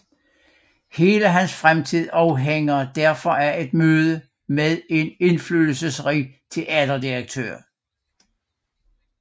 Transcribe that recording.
Hele hans fremtid afhænger derfor af et møde med en indflydelsesrig teaterdirektør